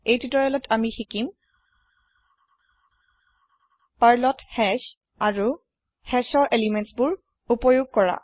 এই তিওতৰিয়েলত আমি শিকিম Perlত হাশ আৰু hashৰ এলিমেন্ত এক্সেচ কৰিবলৈ